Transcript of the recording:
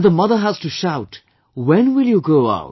And the mother has to shout, "When will you go out